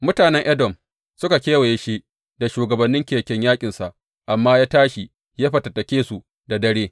Mutanen Edom suka kewaye shi da shugabannin keken yaƙinsa, amma ya tashi ya fatattaki su da dare.